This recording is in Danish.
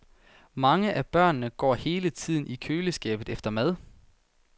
Mange af børnene går hele tiden selv i køleskabet efter mad.